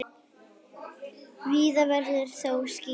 Víða verður þó skýjað.